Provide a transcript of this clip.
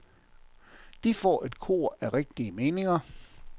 De får et kor af rigtige meninger.